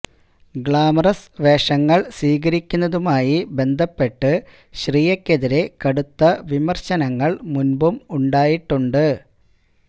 glamorous വേഷങ്ങള് സ്വീകരിക്കുന്നതുമായി ബന്ധപ്പെട്ട് ശ്രിയയ്ക്കെതിരെ കടുത്ത വിമര്ശനങ്ങള് മുന്പും ഉണ്ടായിട്ടുണ്ട്